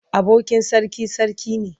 Abokin sarki sarki ne.